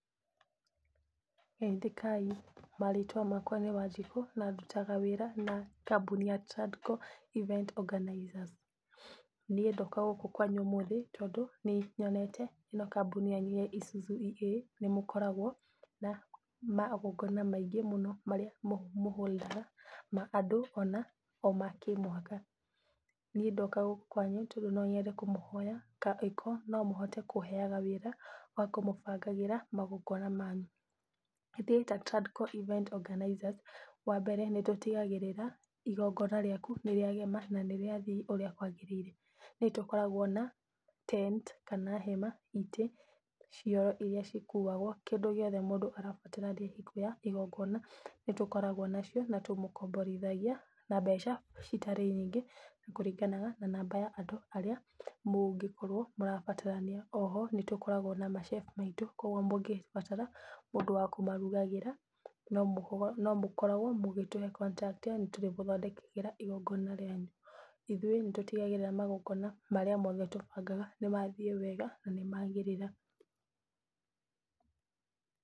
Geithĩkai, marĩtwa makwa nĩ Wanjikũ na ndũtaga wĩra na na kambuni ya Tradco Event Organizers, niĩ ndoka gũkũ kwanyu ũmũthĩ, tondũ nĩ nyote kambuni yanu ya Isuzu EA nĩ mũkoragwo na magongona maingĩ mũno marĩa mũ hold aga ma andũ ona ma kĩmũhaka. Niĩ ndoka gũkũ kwanyu tondũ no nyende kũmũhoya ka angĩkorwo no mũhote kũheaga wĩra wa kũmũbangagĩra magongona manyu. Ithuĩ ta Tradco Event Organizers wa mbere, nĩ tũtigagĩrĩra igongona rĩaku nĩ rĩagema na nĩ rĩathiĩ ũrĩa kwagĩrĩire. Nĩ tũkoragwo na tent kana hema, itĩ, cioro iria cikuagwo, kĩndũ gĩothe mũndũ arabatarania hingo ya igongona nĩ tũkoragwo nacio, na tũmũkomborithagia na mbeca citarĩ nyingĩ, kũringanaga na namba ya andũ arĩa mũngĩkorwo mũrabatarania. O ho nĩ tũkoragwo na ma chef aitũ, koguo mũngĩbatara mũndũ wa kũmarugagĩra no mũkoragwo mũgĩtuhe contract, yani nĩ tũrĩgũthondekagĩra igongona rĩanyu. Ithuĩ nĩ tũtigagĩrĩra magongona marĩa mothe tũbagaga nĩ mathiĩ wega na nĩ magĩrĩra.